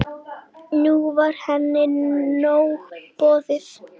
Nú var henni nóg boðið.